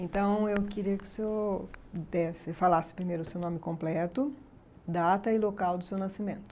Então, eu queria que o senhor desse, falasse primeiro o seu nome completo, data e local do seu nascimento.